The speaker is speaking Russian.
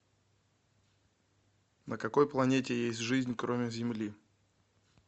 на какой планете есть жизнь кроме земли